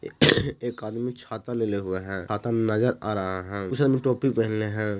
एक आदमी छाता लेले हुआ है छाता नज़र आ रहा है उसने टोपी पहने हैं।